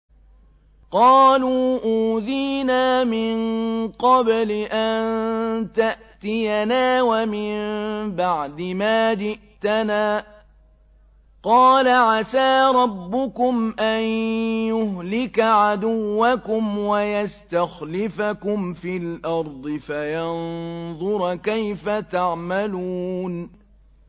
قَالُوا أُوذِينَا مِن قَبْلِ أَن تَأْتِيَنَا وَمِن بَعْدِ مَا جِئْتَنَا ۚ قَالَ عَسَىٰ رَبُّكُمْ أَن يُهْلِكَ عَدُوَّكُمْ وَيَسْتَخْلِفَكُمْ فِي الْأَرْضِ فَيَنظُرَ كَيْفَ تَعْمَلُونَ